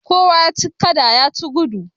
Kowa ya ci gada ya ci gudu.